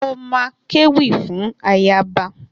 Mo ma kéwì fún ayaba.